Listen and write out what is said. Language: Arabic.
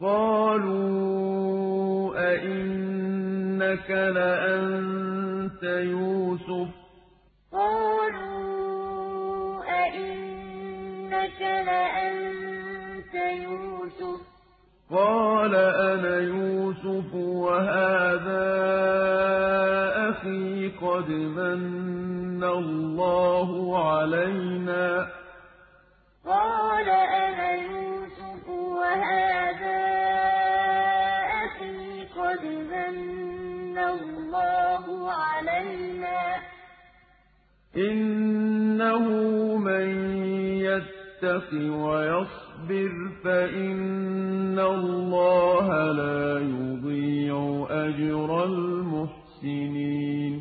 قَالُوا أَإِنَّكَ لَأَنتَ يُوسُفُ ۖ قَالَ أَنَا يُوسُفُ وَهَٰذَا أَخِي ۖ قَدْ مَنَّ اللَّهُ عَلَيْنَا ۖ إِنَّهُ مَن يَتَّقِ وَيَصْبِرْ فَإِنَّ اللَّهَ لَا يُضِيعُ أَجْرَ الْمُحْسِنِينَ